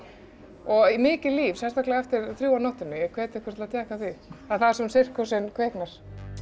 og mikið líf sérstaklega eftir þrjú á nóttunni ég hvet ykkur til að tékka á því þar sem sirkusinn kviknar